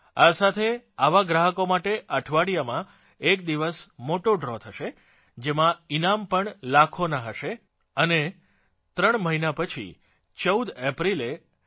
આ સાથે આવા ગ્રાહકો માટે અઠવાડિયામાં એક દિવસ મોટો ડ્રો થશે જેમાં ઇનામ પણ લાખોનાં હશે અને ત્રણ મહિના પછી 14 એપ્રિલે ડૉ